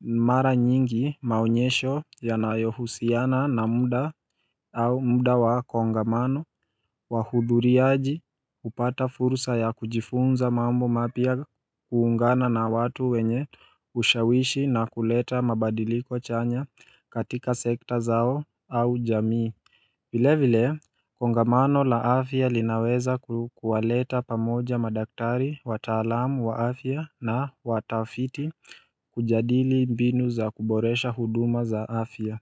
mara nyingi maonyesho ya nayo husiana na muda au muda wa kongamano Wahudhuri aji upata fursa ya kujifunza mambo mapya kuungana na watu wenye ushawishi na kuleta mabadiliko chanya katika sekta zao au jamii vile vile kongamano la afya linaweza kuwaleta pamoja madaktari wataalamu wa afya na watafiti kujadili mbinu za kuboresha huduma za afya.